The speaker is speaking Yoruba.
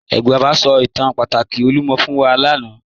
Baba n sọ̀ itàn àpátà Olúmọ̀ fún wa lánà.